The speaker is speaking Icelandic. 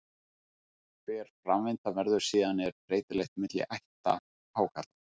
Hver framvindan verður síðan er breytileg milli ætta hákarla.